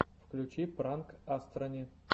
включи пранк астрони